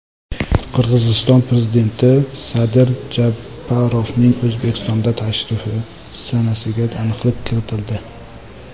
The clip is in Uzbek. Qirg‘iziston prezidenti Sadir Japarovning O‘zbekistonga tashrifi sanasiga aniqlik kiritildi.